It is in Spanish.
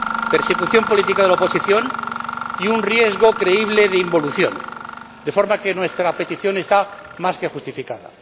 persecución política de la oposición y un riesgo creíble de involución, de forma que nuestra petición está más que justificada.